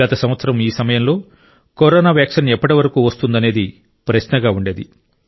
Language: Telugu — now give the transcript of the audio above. గత సంవత్సరం ఈ సమయంలో కరోనా వ్యాక్సిన్ ఎప్పటివరకు వస్తుందనేది ప్రశ్నగా ఉండేది